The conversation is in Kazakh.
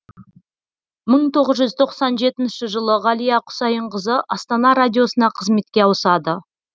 мың тоғыз жүз тоқсан жетінші жылы ғалия құсайынқызы астана радиосына қызметке ауысады